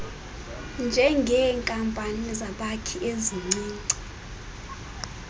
njengeenkampani zabakhi ezincinci